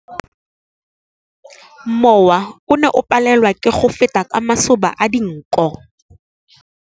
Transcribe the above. Mowa o ne o palelwa ke go feta ka masoba a dinko.